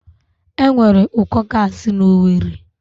Enwere ụkọ gaasi na Owerri